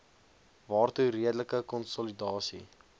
waartoe redelike konsolidasie